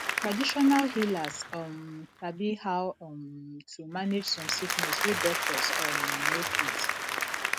traditional healers um sabi how um to manage some sickness wey doctors um no fit